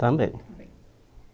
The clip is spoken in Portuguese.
Também.